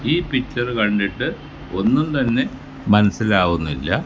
ഈ പിക്ചർ കണ്ടിട്ട് ഒന്നും തന്നെ മനസ്സിലാവുന്നില്ല.